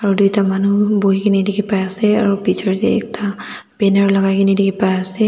aru duita manu buhi gina dikhi pai ase aro bitor de ekta banner lagai gina dikhi pai ase.